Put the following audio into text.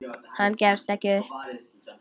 Hann gefst ekki upp.